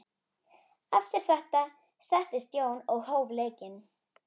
Eftir þetta settist Jón og hóf leikinn.